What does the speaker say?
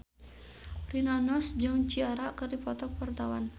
Rina Nose jeung Ciara keur dipoto ku wartawan